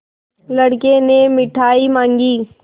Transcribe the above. लड़के ने मिठाई मॉँगी